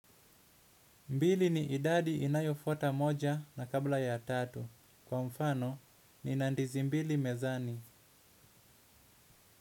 Mbili ni idadi inayofota moja na kabla ya tatu. Kwa mfano, nina ndizi mbili mezani.